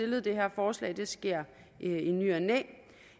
det her forslag det sker i ny og næ